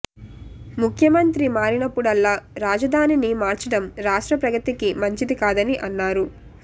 ముఖ్యమంత్రి మారినప్పుడల్లా రాజధానిని మార్చడం రాష్ట్ర ప్రగతికి మంచిది కాదని అన్నారు